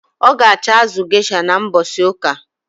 Ọ ga acho azụ gesha na mbosi uka